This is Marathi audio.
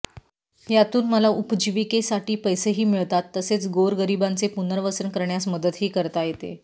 यातून मला उपजीविकेसाठी पैसेही मिळतात तसेच गोरगरिबांचे पुनर्वसन करण्यास मदतही करता येते